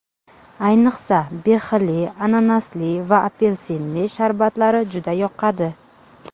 Ayniqsa, behili, ananasli va apelsinli sharbatlari juda yoqadi.